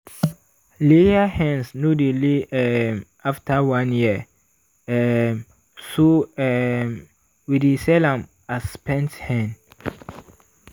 layer hens no dey lay um after one year um so um we dey sell am as spent hen.